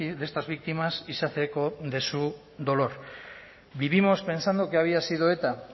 de estas víctimas y se hace eco de su dolor vivimos pensando que había sido eta